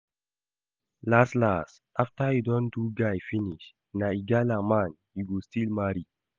Las las after you don do guy finish, na igala man you go still marry